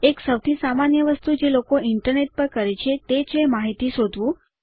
એક સૌથી સામાન્ય વસ્તુ જે લોકો ઇન્ટરનેટ પર કરે છે તે છે માહિતી શોધવું